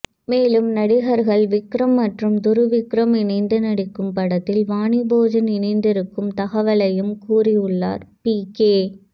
மேலும் நடிகர்கள் விக்ரம் மற்றும் துருவ் விக்ரம் இணைந்து நடிக்கும் படத்தில் வாணி போஜன் இணைந்திருக்கும் தகவலையும் கூறியுள்ளார் பிகே